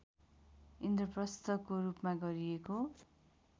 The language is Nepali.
इन्द्रप्रस्थको रूपमा गरिएको